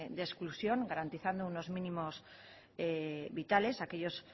de exclusión garantizando unos mínimos vitales a aquellos